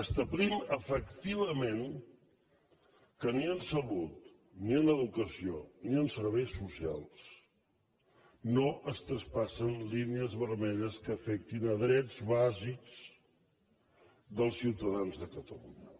establim efectivament que ni en salut ni en educació ni en serveis socials no es traspassen línies vermelles que afectin drets bàsics dels ciutadans de catalunya